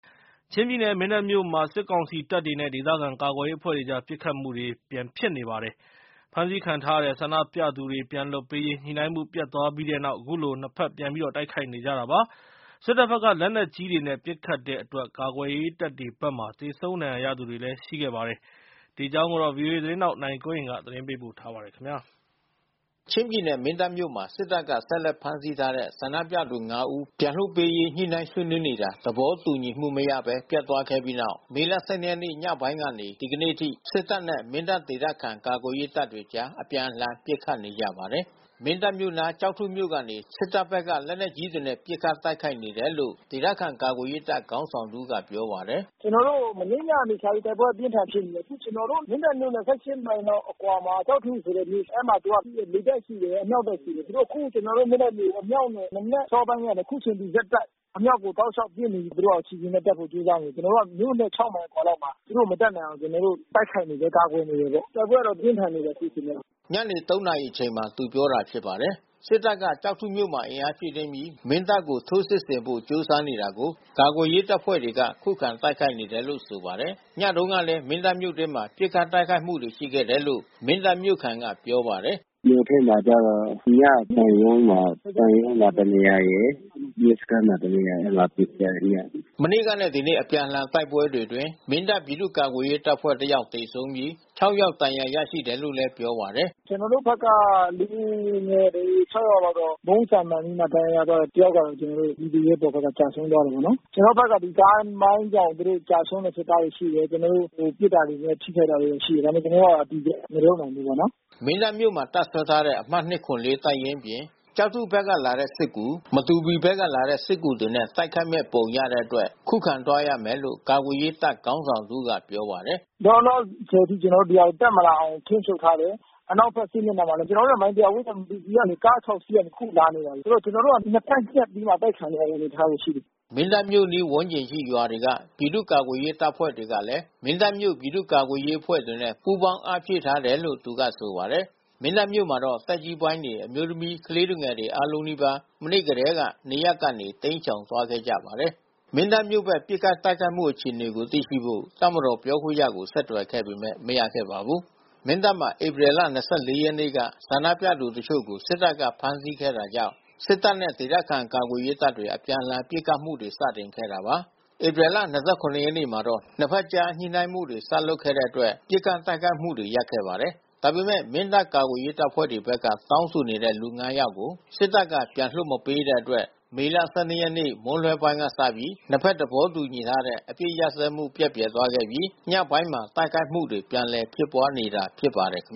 ချင်းပြည်နယ် မင်းတပ်မြို့မှာ စစ်ကောင်စီတပ်တွေနဲ့ ဒေသခံကာကွယ်ရေးအဖွဲ့တွေကြား ပစ်ခတ်မှုတွေ ပြန်ဖြစ်နေပါတယ်။ ဖမ်းဆီးခံထားရတဲ့ ဆန္ဒပြသူတွေ ပြန်လွှတ်ပေးရေး ညှိနှိုင်းမှု ပျက်သွားခဲ့ပြီးနောက် ခုလို နှစ်ဘက် ပြန်တိုက်ခိုက်နေကြတာပါ။ စစ်တပ်ဘက်က လက်နက်ကြီးတွေနဲ့ ပစ်ခတ်တဲ့အတွက် ကာကွယ်ရေးတပ်တွေဘက်မှာ သေဆုံးဒဏ်ရာရသူတွေ ရှိခဲ့ပါတယ်။ ဒီအကြောင်း ဗွီအိုအေသတင်းထောက် ကိုနိုင်ကွန်းအိန်က သတင်းပေးပို့ထားပါတယ်။ ချင်းပြည်နယ် မင်းတပ်မြို့မှာ စစ်တပ်က ဆက်လက်ဖမ်းဆီးထားတဲ့ ဆန္ဒပြသူ ၅ ဦးပြန်လွှတ်ပေးနေရေး ညှိနှိုင်းဆွေးနွေးနေတာ သဘောတူမှုမရဘဲ ပျက်သွားခဲ့ပြီးနောက် မေလ ၁၂ ရက်ညပိုင်းကနေ ဒီနေ့အထိ စစ်တပ်နဲ့ မင်းတပ်ဒေသခံ ကာကွယ်ရေးတပ်တွေကြား အပြန်အလှန် ပစ်ခတ်နေကြပါတယ်။ မင်းတပ်မြို့နား ကျောက်ထုမြို့ကနေ စစ်တပ်ဘက်က လက်နက်ကြီးတွေနဲ့ ပစ်ခတ်တိုက်ခိုက်နေတယ်လို့ ဒေသခံကာကွယ်ရေးတပ် ခေါင်းဆောင်တဦးက ပြောပါတယ်။ "ကျနော်တို့ မနေ့ညကစပြီး တိုက်ပွဲအပြင်းအထန်ဖြစ်ပြီး အခုကျနော်တို့ မင်းတပ်မြို့နဲ့ ၁၈ မိုင်လောက်အကွာမှာ ကျောက်ထုဆိုတဲ့မြို့ အဲဒီမှာ သူကလေတပ်ရှိတယ်။ အမြောက်တပ်ရှိတယ်။ သူတို့ အခုကျနော်တို့ မင်းတပ်ကို မနက် အစောပိုင်းကနေအခုချိန်ထိ အမြောက်တွေတောက်လျှောက်ပစ်နေပြီး သူတို့အစီအစဉ်နဲ့ တက်ဖို့ ကြိုးစားနေတယ်။ ကျနော်တို့ မြို့နဲ့ ၆ မိုင်အကျော်လောက်မှာ သူတို့ မတက်နိုင်အောင် ကျနော်တို့ တိုက်ခိုက်နေတယ်။ ကာကွယ်နေတယ်ပေါ့။ တိုက်ပွဲတော့ပြင်းထန်နေတယ်အခုချိန်မှာ။" ဒီကနေ့ညနေ ၃ နာရီအချိန်က သူပြောခဲ့တာဖြစ်ပါတယ်။ စစ်တပ်က ကျောက်ထုမြို့မှာ အင်အားဖြည့်ပြီး မင်းတပ်ကို ထိုးစစ်ဆင်ဖို့ ကြိုးစားနေတာကို ကာကွယ်ရေးအဖွဲ့တွေက ခုခံတိုက်ခိုက်နေတယ်လို့ ဆိုပါတယ်။ ညတုန်းကလည်း မင်းတပ်မြို့တွင်းမှာ ပစ်ခတ်တိုက်ခိုက်မှုတွေ ရှိခဲ့တယ်လို့ မင်းတပ်မြို့ခံက ပြောပါတယ်။ "မြို့ထဲမှာကျတော့ ညက ဘဏ်ရုံးမှာ ဘဏ်ရုံးမှာ တနေရာရယ်။ ရဲစခန်းမှာ တနေရာရယ်၊ အဲဒီမှာ ပစ်ခတ်ကြတယ်။" မနေ့ကနဲ့ ဒီနေ့ အပြန်အလှန်တိုက်ပွဲတွေအတွင်း မင်းတပ်ပြည်သူ့ကာကွယ်ရေးတပ်ဖွဲ့ဘက်က သေဆုံး ဒဏ်ရာရတဲ့အခြေအနေကိုလည်း ဆက်ပြောပြပါတယ်။ "ကျနော်တို့ဘက်က လူငယ်တွေ ၆ ယောက်လောက်တော့ ဗုံးဆံမှန်ပြီးတော့ဒဏ်ရာရသွားတယ်။ တယောက်ကတော့ ကျနော်တို့ PDF ဘက်က ကျဆုံးသွားတယ်ပေါ့နော်။ ကျနော်တို့ဘက်က ကားမိုင်းကြောင့် သူတို့ကျဆုံးတဲ့ စစ်သားတွေရှိတယ်။ ကျနော်တို့ ပစ်တာတွေနဲ့ ထိခိုက်တာတွေ ရှိတယ်။ ဒါပေမဲ့ ကျနော်တို့က အတည်ပြု မပြောနိုင်ဘူးပေါ့နော်။" မင်းတပ်မြို့ထဲမှာ တပ်စွဲထားတဲ့ အမှတ်၂၇၄ တပ်ရင်းအပြင် ကျောက်ထုဘက်က လာတဲ့ စစ်ကူ၊ မတူပီဘက်ကလာတဲ့ စစ်ကူတွေနဲ့ တိုက်ခိုက်မယ့်ပုံရတဲ့အတွက် ခုခံတိုက်သွားရမယ်လို့ ကာကွယ်ရေးတပ်ခေါင်းဆောင်တဦးက ပြောပါတယ်။ "လောလောဆယ် ကျနော်တို့ ဒီဟာတက်မလာနိုင်အောင်ထိန်းချုပ်ထားတယ်။ အနောက်ဘက်စစ်မျက်နှာမှာလည်း ကျနော်တို့နဲ့ မိုင် ၁၀၀ ဝေးတဲ့ မတူပီကနေ ကား ၆ စီးနဲ့ အခုလာနေတယ်။ ဆိုတော့ ကျနော်တို့က နှစ်ဘက်ညှပ်ပြီးမှ အတိုက်ခံရမယ့် အနေအထားရှိတယ်။" မင်းတပ်မြို့ အနီးဝန်းကျင်ရှိ ရွာတွေက ပြည်သူ့ကာကွယ်ရေးအဖွဲ့တွေကလည်း မင်းတပ်မြို့ ပြည်သူ့ကာကွယ်ရေးအဖွဲ့တွေနဲ့ ပူးပေါင်းအားဖြည့်ထားတယ်လို့ သူက ဆိုပါတယ်။ မင်းတပ်မြို့မှာတော့ သက်ကြီးပိုင်းတွေ၊ အမျိုးသမီး၊ ကလေးသူငယ်တွေ အားလုံးနီးပါး မနေ့ထဲက နေရပ်ကနေ တိမ်းရှောင်သွားခဲ့ကြပါတယ်။ မင်းတပ်မြို့ဘက် ပစ်ခတ်တိုက်ခိုက်မှု အခြေအနေကို သိရှိဖို့ တပ်မတော်ပြောခွင့်ရကို ဆက်သွယ်ခဲ့ပေမဲ့ မရခဲ့ပါဘူး။ မင်းတပ်မှာ ဧပြီလ ၂၄ ရက်နေ့က ဆန္ဒပြသူတချို့ကို စစ်တပ်က ဖမ်းဆီးခဲ့တာကြောင့် စစ်တပ်နဲ့ ဒေသခံကာကွယ်ရေးတပ်တွေ အပြန်အလှန် ပစ်ခတ်မှု စတင်ခဲ့တာပါ။ ဧပြီ ၂၇ ရက်မှာတော့ နှစ်ဘက်ကြား ညှိနှိုင်းမှုတွေ စလုပ်ခဲ့တဲ့အတွက် ပစ်ခတ်တိုက်ခိုက်မှုတွေ ရပ်ခဲ့ပါတယ်။ ဒါပေမဲ့ မင်းတပ်ကာကွယ်ရေးအဖွဲ့တွေဘက်က တောင်းဆိုနေတဲ့သူ ၅ ယောက်ကို စစ်တပ်က ပြန်လွှတ်မပေးတဲ့အတွက် မေလ ၁၂ ရက်နေ့မွန်းလွဲပိုင်းက စပြီး နှစ်ဘက်သဘောတူထားတဲ့ အပစ်ခတ်ရပ်စဲမှု ပျက်ပြယ်သွားခဲ့ပြီး ညပိုင်းမှာ တိုက်ခိုက်မှုတွေ ပြန်လည် ဖြစ်ပွားနေတာဖြစ်ပါတယ်။ မ